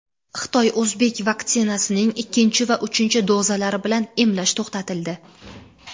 Xitoy-o‘zbek vaksinasining ikkinchi va uchinchi dozalari bilan emlash to‘xtatildi.